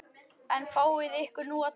En fáiði ykkur nú að drekka.